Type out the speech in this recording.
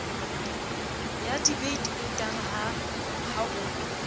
ya debite otara ha o